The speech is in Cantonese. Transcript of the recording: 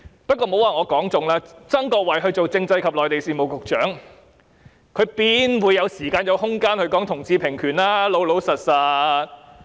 但是，曾國衞擔任政制及內地事務局局長，怎會有時間和空間談同志平權呢？